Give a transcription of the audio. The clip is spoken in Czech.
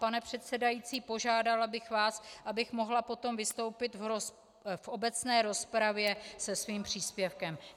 Pane předsedající, požádala bych vás, abych mohla potom vystoupit v obecné rozpravě se svým příspěvkem.